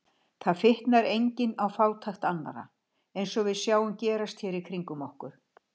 Þar fitnar enginn á fátækt annarra, eins og við sjáum gerast hér í kringum okkur.